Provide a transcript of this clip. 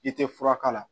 I tɛ fura k'a la